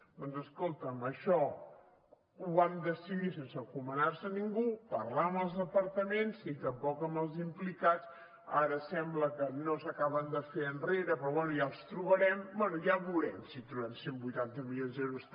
doncs escolta’m això ho van decidir sense encomanar se a ningú parlar amb els departaments ni tampoc amb els implicats ara sembla que no s’acaben de fer enrere però bé ja els trobarem bé ja ho veurem si trobem cent i vuitanta milions d’euros